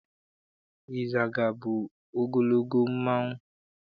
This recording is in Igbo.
Ịzaga bụ ogologo mmanụ.